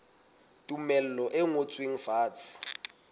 le tumello e ngotsweng fatshe